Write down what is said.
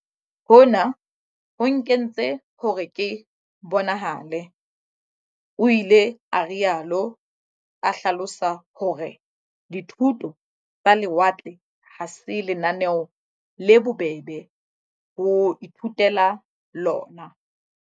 Hona ho nkentse hore ke bonahale, o ile a rialo, a hlalosa hore di thuto tsa lewatle ha se lenaneo le bobebe ho ithutela lona.